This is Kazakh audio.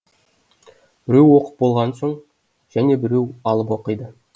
біреу оқып болған соң және біреу алып оқиды